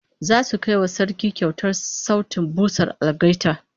Zasu kai wa Sarki kyautar sautin busar algaita